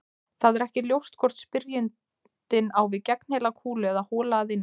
Það er ekki ljóst hvort spyrjandinn á við gegnheila kúlu eða hola að innan.